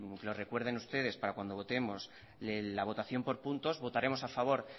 lo recuerden ustedes para cuando votemos la votación por puntos votaremos a favor